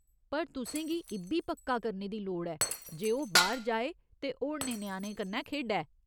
पर तुसें गी इ'ब्बी पक्का करने दी लोड़ ऐ जे ओह् बाह्‌र जाऐ ते होरनें ञ्याणें कन्नै खेढै।